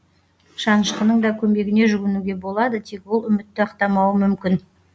шанышқының да көмегіне жүгінуге болады тек ол үмітті ақтамауы мүмкін